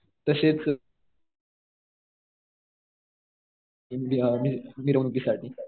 तसेच